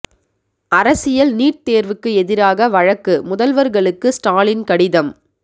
அரசியல் நீட் தேர்வுக்கு எதிராக வழக்கு முதல்வர்களுக்கு ஸ்டாலின் கடிதம்